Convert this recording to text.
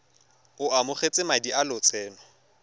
o amogetse madi a lotseno